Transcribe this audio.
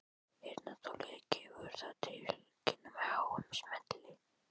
Heyrnartólið gefur það til kynna með háum smelli.